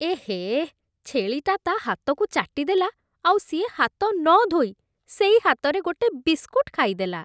ଏହେ! ଛେଳିଟା ତା' ହାତକୁ ଚାଟିଦେଲା, ଆଉ ସିଏ ହାତ ନ ଧୋଇ ସେଇ ହାତରେ ଗୋଟେ ବିସ୍କୁଟ୍ ଖାଇଦେଲା ।